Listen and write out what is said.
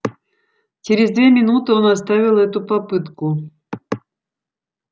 через две минуты он оставил эту попытку